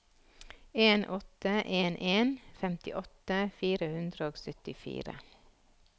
en åtte en en femtiåtte fire hundre og syttifire